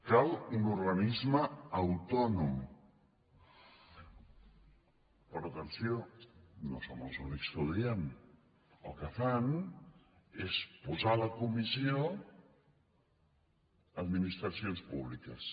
cal un organisme autònom però atenció no som els únics que ho diem el que fan és posar a la comissió administracions públiques